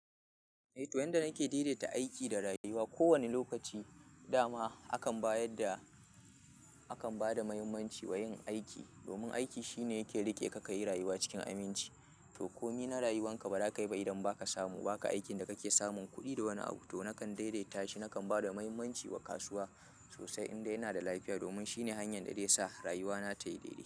Eh to yanda nake daidaita aiki da rayuwa, ko wani lokaci dama akan bayadda, akan bada mahimmanci wa yin aiki domin aiki shine yake rike ka kayi rayuwa cikin aminci. To komi na rayuwan ka ba za ka yi ba idan ba ka samu, ba ka aikin da ka ke samun kuɗi da wani abu. To nakan daidaita shi, nakan ba da muhimmanci wa kasuwa sosai inda yana da lafiya domin shine hanyar da zai sa rayuwa na tayi daidai.